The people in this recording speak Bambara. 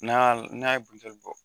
N'a y'a n'a ye buteli bɔ